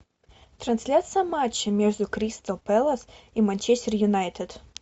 трансляция матча между кристал пэлас и манчестер юнайтед